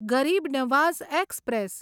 Garib Nawaz express